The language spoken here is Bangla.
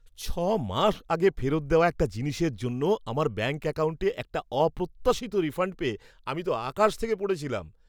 ছ মাস আগে ফেরত দেওয়া একটা জিনিসের জন্য আমার ব্যাঙ্ক অ্যাকাউণ্টে একটা অপ্রত্যাশিত রিফাণ্ড পেয়ে আমি তো আকাশ থেকে পড়েছিলাম।